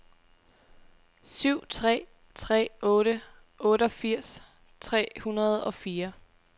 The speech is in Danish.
syv tre tre otte otteogfirs tre hundrede og fire